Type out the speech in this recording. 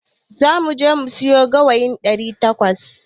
Zamu je mu sayo gawayin ɗari takwas.